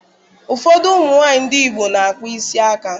Ụfọdụ ụmụ nwaanyị ndị Igbo na-akpa isi aka